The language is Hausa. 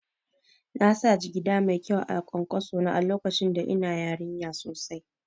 Nasa jigida mai kyau a kwankwaso na lokacin da ina yarinya sosai